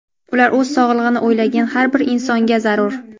Ular o‘z sog‘lig‘ini o‘ylagan har bir insonga zarur.